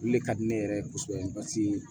Olu le ka di ne yɛrɛ ye kosɛbɛ